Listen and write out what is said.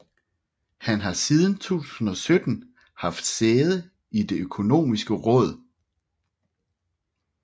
Han har siden 2017 haft sæde i Det Økonomiske Råd